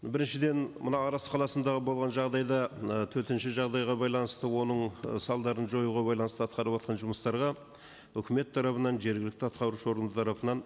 біріншіден мына арыс қаласыдағы болған жағдайда ы төтенше жағдайға байланысты оның ы салдарын жоюға байланысты атқарыватқан жұмыстарға үкімет тарапынан жергілікті атқарушы орган тарапынан